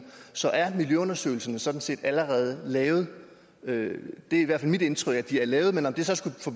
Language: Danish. så er miljøundersøgelserne sådan set allerede lavet det er i hvert fald mit indtryk at de er lavet men at det så skulle få